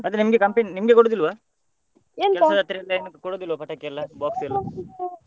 ಮತ್ತೆ ನಿಮ್ಗೆ company ನಿಮ್ಗೆ ಕೊಡುದಿಲ್ವ ಏನು ಕೊಡುದಿಲ್ವ ಪಟಾಕಿ ಎಲ್ಲ box ಎಲ್ಲ?